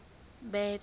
bad